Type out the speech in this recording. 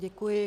Děkuji.